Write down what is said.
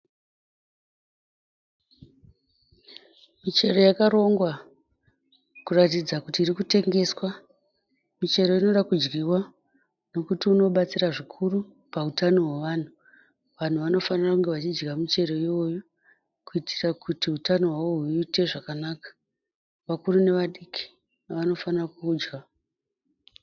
Michero yakarongwa kuratidza kuti iri kutengeswa. Michero inoda kudyiwa nekuti unobatsira zvikuru pautano hwevanhu. Vanhu vanofanira kunge vachidya muchero iwoyu kuitira kuti utano hwavo huite zvakanaka. Vakuru nevadiki vanofanira kuudya.